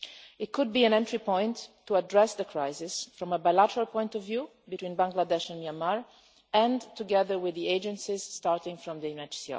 It could be an entry point to address the crisis from a bilateral point of view between Bangladesh and Myanmar and, together with the agencies, starting from the UNHCR.